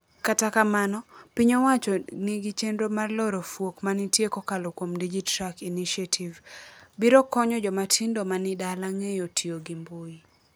Kata kamano, piny owacho ni chenro mar loro fuok manitie kokalo kuom DigiTruck Initiative biro konyo jomatindo mani dala ng'eyo tio gi mbui.